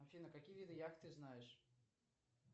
афина какие виды яхт ты знаешь